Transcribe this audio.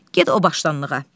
Get o başdanlığa.